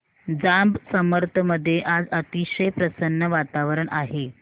जांब समर्थ मध्ये आज अतिशय प्रसन्न वातावरण आहे